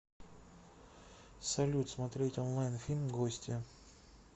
салют смотреть онлайн фильм гостья